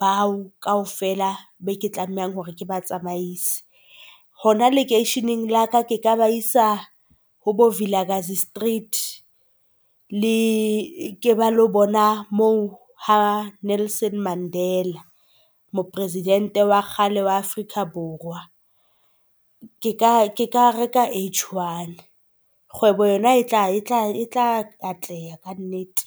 bao kaofela be ke tlamehang hore ke ba tsamaise hona lekeisheneng la ka ke ka ba isa ho bo Vilakazi street. Le ke ba lo bona moo ha Nelson Mandela, mopresidente wa kgale wa Afrika Borwa. Ke ka ka reka H-one. Kgwebo yona etla etla etla atleha ka nnete.